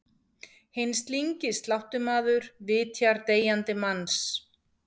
Hinn slyngi sláttumaður vitjar deyjandi manns.